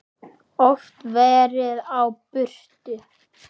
Oft verið á burtu.